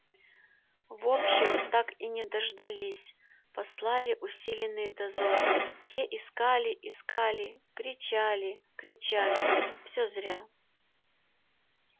в общем так и не дождались послали усиленный дозор те искали искали кричали кричали все зря